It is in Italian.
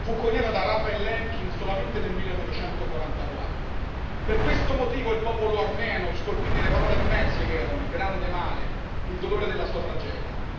Fu coniata da Raphael Lemkin solamente nel 1944. Per questo motivo il popolo armeno scolpì nelle parole Metz Yeghern, Grande Male il dolore della sua tragedia.